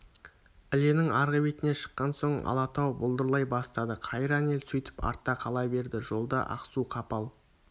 іленің арғы бетіне шыққан соң алатау бұлдырай бастады қайран ел сөйтіп артта қала берді жолда ақсу-қапал